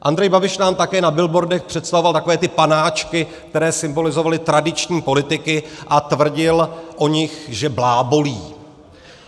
Andrej Babiš nám také na billboardech představoval takové ty panáčky, kteří symbolizovali tradiční politiky, a tvrdil o nich, že blábolí.